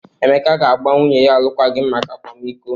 Emeka ga-agba nwunye ya alụkwaghịm maka akwamiko.